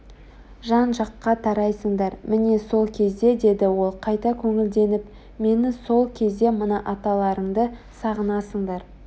жан-жаққа тарайсыңдар міне сол кезде деді ол қайта көңілденіп мені сол кезде мына аталарыңды сағынасыңдар